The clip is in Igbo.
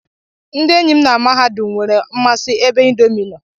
Ndị enyi m na mahadum nwere mmasị ebe indomi nọ.